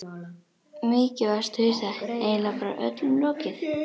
Mikið varstu hissa, eiginlega bara öllum lokið.